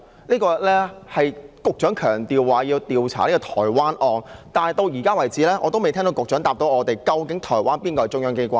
這是局長強調要調查台灣案，但到現時為止，我仍未聽到局長回答我們，究竟哪個是台灣的中央機關？